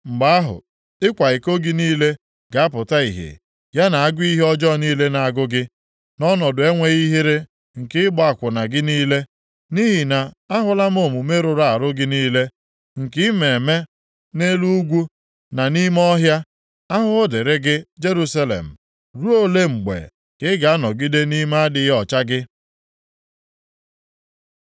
Mgbe ahụ, ịkwa iko gị niile ga-apụta ihe ya na agụụ ihe ọjọọ niile na-agụ gị, na ọnọdụ enweghị ihere nke ịgba akwụna gị niile! Nʼihi na ahụla m omume rụrụ arụ gị niile, nke ị na-eme nʼelu ugwu, na nʼime ọhịa. Ahụhụ dịrị gị, Jerusalem! Ruo ole mgbe ka ị ga-anọgide nʼime adịghị ọcha gị?”